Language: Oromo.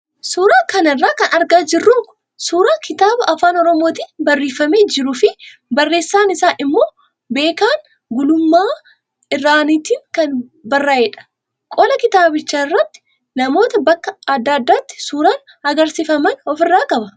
Suuraa kana irraa kan argaa jirru suuraa kitaaba afaan oromootiin barreeffamee jiruu fi barreessaan isaa immoo Beekan Gulummaa Irranaatiin kan barreeyedha. Qola kitaabichaa irratti namoota bakka adda addaatti suuraan agarsiifaman ofirraa qaba.